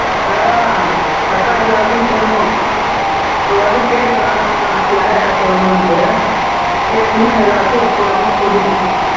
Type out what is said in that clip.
ஆஹ் அதான் எல்லாருக்கும் சொல்லணும் ஒருவாட்டி கேட்டுக்க கிட்ட யார் யார்கிட்ட சொல்லன்னும்னுட்டு கேட்டுட்டு எல்லாருக்கும் ஒருத்தர் விடாம சொல்லிரு